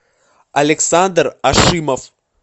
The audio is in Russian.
александр ашимов